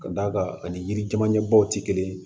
Ka d'a kan ani yirijamanɲɛbaw tɛ kelen ye